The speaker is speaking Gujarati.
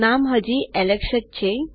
નામ હજી એલેક્સ જ છે